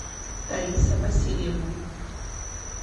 таиса васильевна